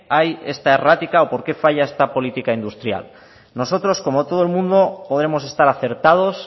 hay esta errática o por qué falla esta política industrial nosotros como todo el mundo podemos estar acertados